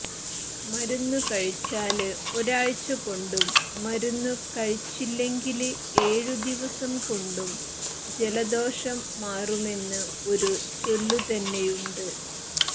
മരുന്നുകഴിച്ചാല് ഒരാഴ്ച കൊണ്ടും മരുന്നു കഴിച്ചില്ലെങ്കില് ഏഴ് ദിവസം കൊണ്ടും ജലദോഷം മാറുമെന്ന് ഒരു ചൊല്ലുതന്നെയുണ്ട്